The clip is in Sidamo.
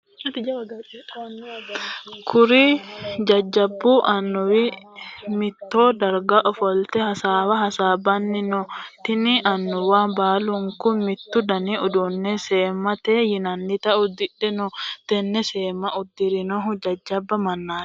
Kuri jajabu annuwi mitto darga ofolte hasaawa hasaabanni no. Tinni Annuwa baalunku mitu danni udano seemate yinnannita udidhe no. Tenne seemma udiranohu jajaba manaati.